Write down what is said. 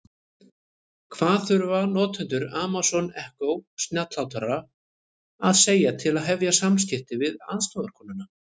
Hvað þurfa notendur Amazon Echo snjallhátalara að segja til að hefja samskipti við aðstoðarkonuna?